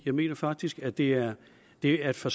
jeg mener faktisk at det er det er for